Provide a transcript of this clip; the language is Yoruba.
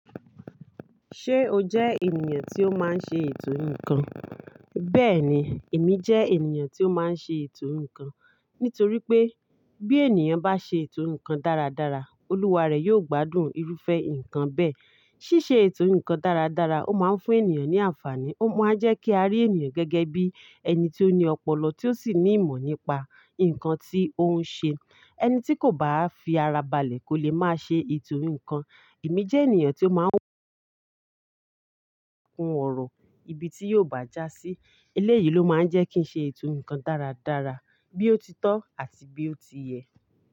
Ṣé o jẹ́ ènìyàn tí ó máa ń ṣe ètò ǹkan? Bẹ́ẹ̀ni, èmi jẹ́ ènìyàn tí ó máa ń ṣe ètò ǹkan. Nítorí pé bí ènìyàn bá ṣe ètò ǹkan dáradára, olúwa rẹ̀ yóò gbádùn irúfẹ́ ǹkan bẹ́ẹ̀. Síṣe ètò ǹkan dáradára, ó máa ń fún ènìyàn ní àǹfààní, ó máa ń jẹ́ kí a rí ènìyàn gẹ́gẹ́ bí ẹni tí ó ní ọpọlọ, tí ó sì ní ìmọ̀ nípa ǹkan tí ó ń ṣe. Ẹni tí kò bá fi ara balẹ̀ kó lè máa ṣe ètò ǹkan. Èmi jẹ́ ènìyàn tí ó máa ń kun ọ̀rọ̀, ibi tí yóò bàjà sí. Eléyìí ló máa ń jẹ́ kí ń ṣe ètò ǹkan dáradára, bí ó ti tọ́ àti bí ó ti yẹ.